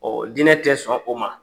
dinɛ tɛ sɔn o ma.